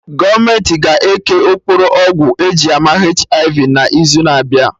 Gọọmenti ga eke okpokoro ọgwụ eji ama HIV n'izu na abịa